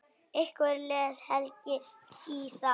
Hvernig les Helgi í það?